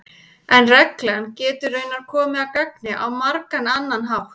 en reglan getur raunar komið að gagni á margan annan hátt